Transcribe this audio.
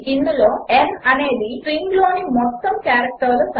ఇందులో n అనేది స్ట్రింగ్లోని మొత్తం క్యారెక్టర్ల సంఖ్య